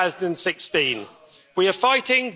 2016. We are fighting.